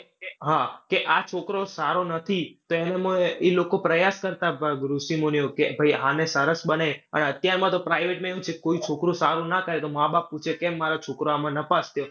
હા, કે આ છોકરો સારો નથી તો એનોમાં ઈ લોકો પ્રયાસ કરતા ઋષિમુનિઓ કે ભય આને સરસ બને, અને અત્યારમાં તો private માં એવું છે કે કોઈ છોકરો સારો ન થાય તો માબાપ પૂછે કેમ મારો છોકરો આમાં નપાસ થયો